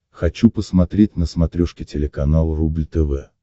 хочу посмотреть на смотрешке телеканал рубль тв